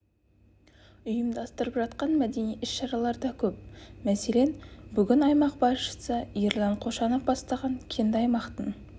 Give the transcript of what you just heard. ұйымдастырылып жатқан мәдени іс-шаралар да көп мәселен бүгін аймақ басшысы ерлан қошанов бастаған кенді аймақтың